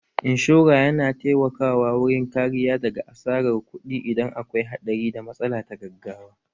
Inshora yana taimaka wa wurin kariya daga asarar kuɗi idan akwai haɗari da matsala ta gaggawa